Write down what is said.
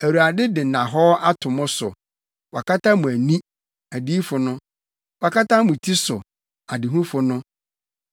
Awurade de nnahɔɔ ato mo so: Wakata mo ani (adiyifo no); wakata mo ti so (adehufo no).